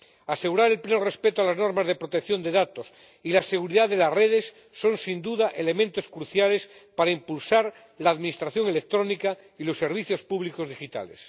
Asegurar el pleno respeto de las normas de protección de datos y la seguridad de las redes son, sin duda, elementos cruciales para impulsar la administración electrónica y los servicios públicos digitales.